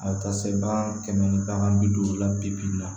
A bɛ taa se bagan kɛmɛ ni bagan bi duuru la bibi in na